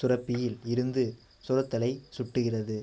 சுரப்பியில் இருந்து சுரத்தலை சுட்டுகிறது